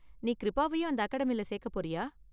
நீ க்ரிப்பாவையும் அந்த அகாடமியில சேக்க போறியா?